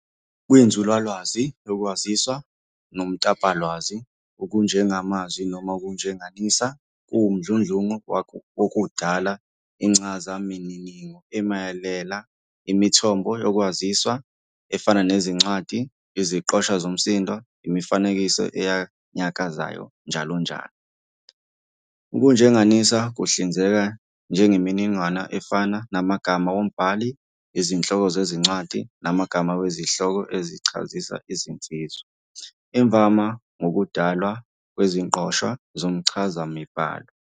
Kwinzululwazi yoKwaziswa noMtapolwazi, ukujengamazwi noma ukujenganisa kuwumdludlungu wokudala incazamininingo emelela imithombo yokwaziswa efana nezincwadi, iziqoshwa zomsindo, imifanekiso enyakazayo, njll. Ukujenganisa kuhlinzeka ngemininingwane efana namagama wombhali, izihloko zezincwadi, namagama wezihloko ezichazisa izinsiza, imvama ngokudalwa kweziqoshwa zomchazamibhalo.